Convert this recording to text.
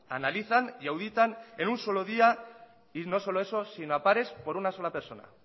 analizan y auditan en un solo día y no solo eso sino a pares por una sola persona